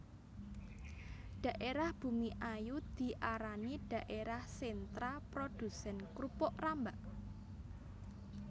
Dhaérah Bumiayu diarani dhaérah sentra produsén krupuk rambak